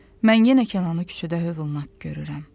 Mən yenə Kənanı küçədə hövlanak görürəm.